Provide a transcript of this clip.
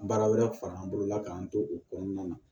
Baara wɛrɛ far'an bolo la k'an to o kɔnɔna na